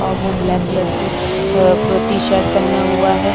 और वो black colour की अ टी-शर्ट पहना हुआ है।